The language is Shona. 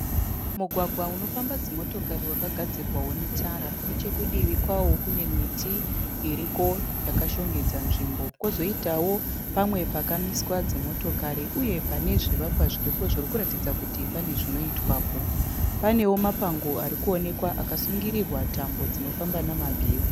Mugwagwa unofamba dzimotokari wakagadzirwawo netara, nechekudivi kwawo kune miti iriko yakashongedza nzvimbo kwozoitawo pamwe pakaiswa dzimotokari uye pane zvivakwa zviripo zvirikuratidza kuti pane zvinoitwapo, panewo mapango arikuonekwa akasungirirwa tambo dzinofamba nemagetsi.